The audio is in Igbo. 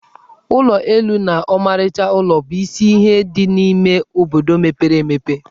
Ụlọ elu na ọmarịcha ụlọ bụ isi ihe dị n'ime obodo mepere emepe.